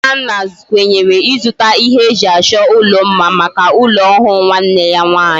Nnanna kwenyere izuta ihe eji acho ulo mma Maka ulo ohu nwanne ya nwanyi